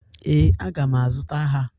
Ee, aga m a zụta ha.